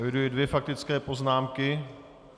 Eviduji dvě faktické poznámky.